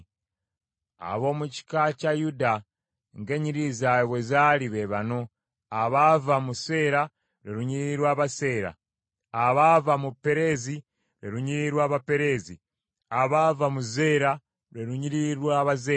Ab’omu kika kya Yuda ng’ennyiriri zaabwe bwe zaali, be bano: abaava mu Seera, lwe lunyiriri lw’Abaseera; abaava mu Pereezi, lwe lunyiriri lw’Abapereezi; abaava mu Zeera, lwe lunyiriri lw’Abazeera.